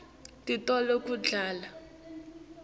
titolo tekudla